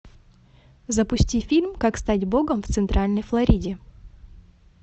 запусти фильм как стать богом в центральной флориде